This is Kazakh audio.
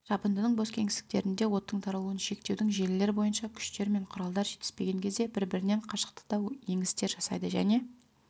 жабындының бос кеңістіктерінде оттың таралуын шектеудің желілері бойынша күштер мен құралдар жетіспеген кезде бір-бірінен қашықтықта еңістер жасайды және